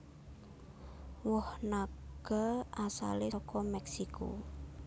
Woh naga asalé saka Mèksiko